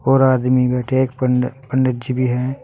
और आदमी बैठे हैं एक पंडी पंडित जी भी हैं।